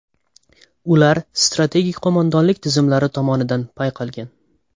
Ular strategik qo‘mondonlik tizimlari tomonidan payqalgan.